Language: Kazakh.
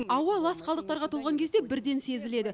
ауа лас қалдықтарға толған кезде бірден сезіледі